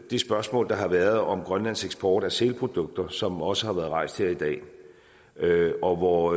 det spørgsmål der har været om grønlands eksport af sælprodukter som også har været rejst her i dag og hvor